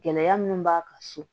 Gɛlɛya minnu b'a kan so